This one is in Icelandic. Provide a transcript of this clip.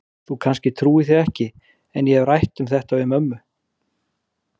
Þú kannski trúir því ekki, en ég hef rætt um þetta við mömmu.